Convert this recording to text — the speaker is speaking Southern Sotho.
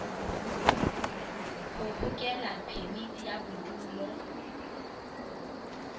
ho hokela phemiti ya bodulo